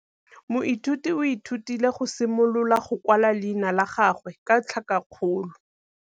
Moithuti o ithutile go simolola go kwala leina la gagwe ka tlhakakgolo.